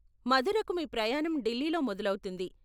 మథురకు మీ ప్రయాణం ఢిల్లీలో మొదలవుతుంది.